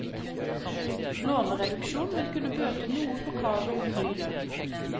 Lånereduksjon vil kunne bøte noe på kravet om høy lønn.